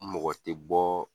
Mɔgɔ te bɔ